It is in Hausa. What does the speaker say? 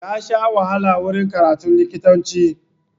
Ya sha wahala wurin karatun likitanci.